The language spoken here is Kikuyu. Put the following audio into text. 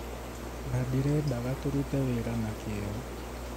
"Na ndĩrendaga tũrute wĩra na kĩyo."